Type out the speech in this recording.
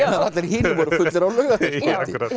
allir hinir voru fullir á laugardagskvöldi